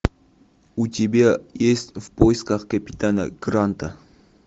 у тебя есть в поисках капитана гранта